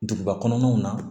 Duguba kɔnɔnaw na